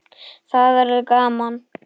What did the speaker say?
Það verður gaman.